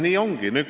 Nii ongi.